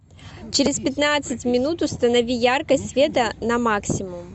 через пятнадцать минут установи яркость света на максимум